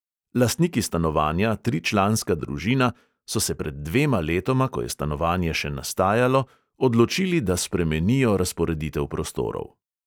Lastniki stanovanja, tričlanska družina, so se pred dvema letoma, ko je stanovanje še nastajalo, odločili, da spremenijo razporeditev prostorov.